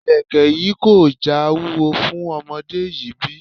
Ilẹ̀kè yìí kò já wúwo fún ọmọdé yìí bí?